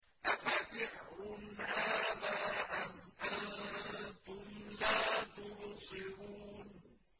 أَفَسِحْرٌ هَٰذَا أَمْ أَنتُمْ لَا تُبْصِرُونَ